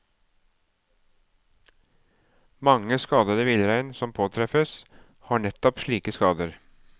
Mange skadede villrein som påtreffes, har nettopp slike skader.